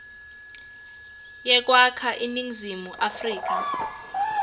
yekwakha iningizimu afrika